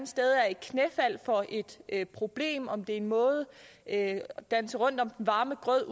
sted er et knæfald for et problem om det er en måde at danse rundt om den varme grød